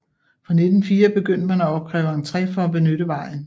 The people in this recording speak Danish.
Fra 1904 begyndte man at opkræve entré for benytte vejen